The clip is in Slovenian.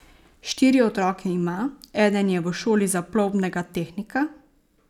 Štiri otroke ima, eden je v šoli za plovbnega tehnika.